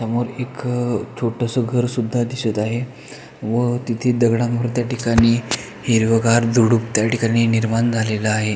समोर एक छोटसं घरं सुद्धा दिसत आहे व तिथे दगडांवर त्या ठिकाणी हिरवगार झुडुप त्या ठिकाणी निर्माण झालेल आहे.